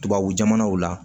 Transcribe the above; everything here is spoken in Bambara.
Tubabu jamanaw la